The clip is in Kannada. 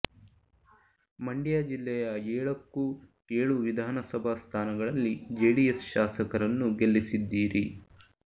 ಮಂಡ್ಯ ಜಿಲ್ಲೆಯ ಏಳಕ್ಕೂ ಏಳು ವಿಧಾನ ಸಭಾ ಸ್ಥಾನಗಳಲ್ಲಿ ಜೆಡಿಎಸ್ ಶಾಸಕರನ್ನು ಗೆಲ್ಲಿಸಿದ್ದೀರಿ